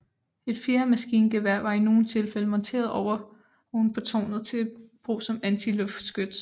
Et fjerde maskingevær var i nogle tilfælde monteret oven på tårnet til brug som antiluftskyts